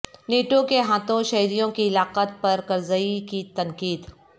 NATO کے ہاتھوں شہریوں کی ہلاکت پرکرزئی کی تنقید